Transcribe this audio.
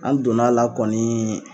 An donn'a la kɔnii